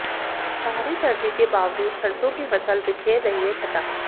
भारी सर्दी के बावजूद सरसों की फसल बिखेर रही है छटा